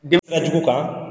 kan